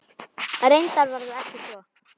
Reyndar var það ekki svo.